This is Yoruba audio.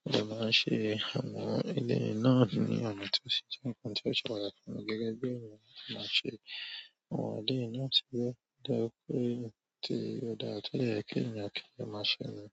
mo dẹ máa n ṣe àwọn eleyi náà ní ọ̀nà ti o si jẹ nǹkan tí ó ṣe pàtàkì gẹ́gẹ́ bí ènìyàn ṣe máa ṣe àwọn eleyi náà ti o dá pé tí ó dára tó dẹ̀ yẹ kí ènìyàn kí ó dẹ máa ṣe náà.